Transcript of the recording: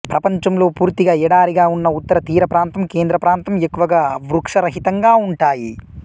ప్రపంచంలో పూర్తిగా ఎడారిగా ఉన్న ఉత్తర తీరప్రాంతం కేంద్ర ప్రాంతం ఎక్కువగా వృక్షరహితంగా ఉంటాయి